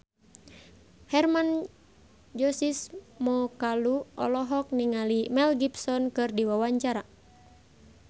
Hermann Josis Mokalu olohok ningali Mel Gibson keur diwawancara